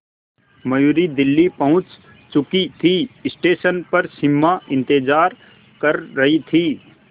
मयूरी दिल्ली पहुंच चुकी थी स्टेशन पर सिमा इंतेज़ार कर रही थी